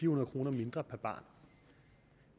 hundrede kroner mindre per barn